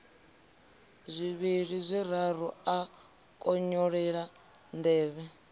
zwivhili zwiraru a konyolela nḓevhe